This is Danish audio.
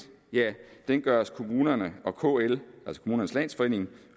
den vejledningspligt gøres kommunerne og kl altså kommunernes landsforening